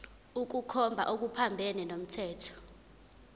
ukukhomba okuphambene nomthetho